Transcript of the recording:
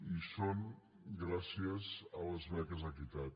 i són gràcies a les beques equitat